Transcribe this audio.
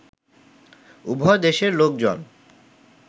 উভয় দেশের লোকজন